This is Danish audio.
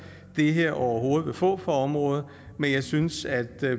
det her overhovedet vil få for området men jeg synes at